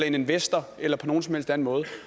en investor eller på nogen som helst anden måde